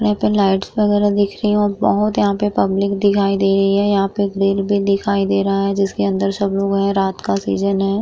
और यहाँ पर लाइट्स वगैरह दिख रही है और बहोत यहाँ पर पब्लिक दिखाई दे रही है। यहाँ पर एक दिखाई दे रहा है जिसके अंदर सब लोग है। रात का सीजन है।